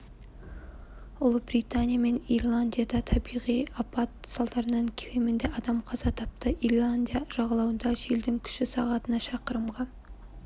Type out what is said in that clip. ұлыбритания мен ирландияда табиғи апат салдарынан кемінде адам қаза тапты ирландия жағалауында желдің күші сағатына шақырымға